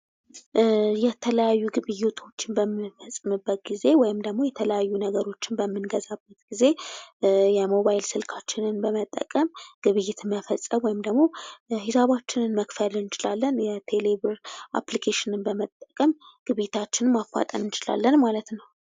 የተለያዩ ግብይቶችን በምንፈጽምበት ጊዜ ወይም ደግሞ የተለያዩ ነገሮችን በምንገዛበት ጊዜ የሞባይል ስልካችንን በመጠቀም ግብይትን መፈጸም ወይም ደግሞ ሂሳባችንን መክፈል እንችላለን። የቴሌ ብር አፕሊኬሽን በመጠቀም ግብይታችንን ማፋጠን እንችላለን ማለት ነው።